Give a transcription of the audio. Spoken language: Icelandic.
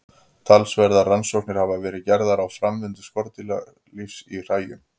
Talsverðar rannsóknir hafa verið gerðar á framvindu skordýralífs í hræjum.